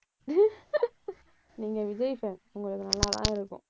நீங்க விஜய் fan உங்களுக்கு நல்லாதான் இருக்கும்.